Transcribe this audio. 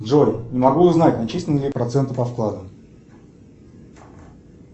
джой не могу узнать начислены ли проценты по вкладу